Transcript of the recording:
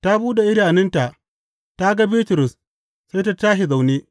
Ta buɗe idanunta, ta ga Bitrus sai ta tashi zaune.